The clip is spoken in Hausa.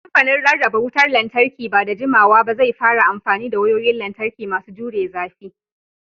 Kamfanin Rarraba Wutar Lantarki ba da jimawa ba zai fara amfani da wayoyin lantarki masu jure zafi.